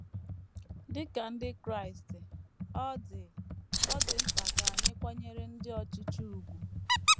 Dị ka ndị Kraịst, “ ọ dị “ ọ dị mkpa ” ka anyị kwanyere ndị ọchịchị ùgwù.